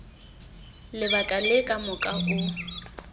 lebaka le ka moka o